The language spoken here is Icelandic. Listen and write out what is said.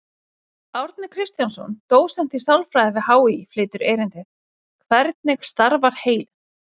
Árni Kristjánsson, dósent í sálfræði við HÍ, flytur erindið: Hvernig starfar heilinn?